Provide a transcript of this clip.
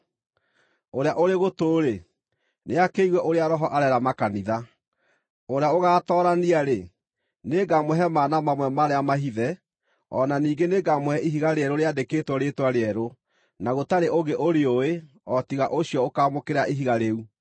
Ũrĩa ũrĩ gũtũ-rĩ, nĩakĩigue ũrĩa Roho areera makanitha. Ũrĩa ũgaatoorania-rĩ, nĩngamũhe mana mamwe marĩa mahithe. O na ningĩ nĩngamũhe ihiga rĩerũ rĩandĩkĩtwo rĩĩtwa rĩerũ, na gũtarĩ ũngĩ ũrĩũĩ o tiga ũcio ũkaamũkĩra ihiga rĩu.